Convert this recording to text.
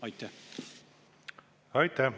Aitäh!